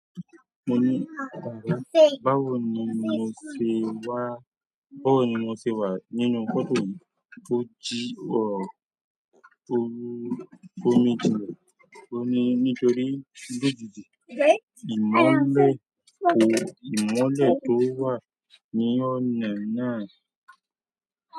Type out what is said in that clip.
Mo ní, báwo ni mo ṣe wà, báwo ni mo ṣe wà nínú fọ́tò yìí tó jí ọ, tó mí jinnà? Ó ní nítorí lòdì sí ìmọ́lẹ̀, ìmọ́lẹ̀ tó wà ní ọ̀nà náà.